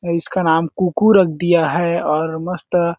इसका नाम कु कु रख दिया है और मस्त--